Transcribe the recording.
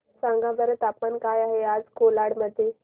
सांगा बरं तापमान काय आहे आज कोलाड मध्ये